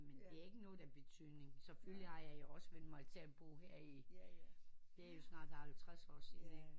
Men det er ikke noget der er betydning selvfølgelig har jeg også vænnet mig til at bo her i det er jo snart halvtreds år siden ikke